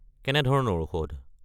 কেনেধৰণৰ ঔষধ?